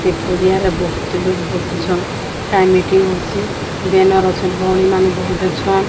ସେ ପଡିଆରେ ବୋହୁତ୍ ଲୋଗ୍ ବସିଛନ୍ କାଇଁ ମିଟିଂ ହୋଉଚି। ବ୍ୟାନର ଅଛନ୍ ଭଉଣି ମାନେ ବୋହୁତ୍ ଅଛନ୍।